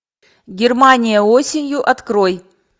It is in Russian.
германия осенью открой